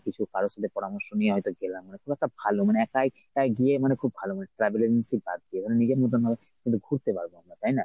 কিছু কারো মত পরামর্শ নিয়ে হয়ত গেলাম নতুবা একটা ভালো মানে একাই একাই গিয়ে মানে খুব ভালো travel agency বাদ। নিজের মতন কিন্তু ঘুরতে পারব আমরা তাই না?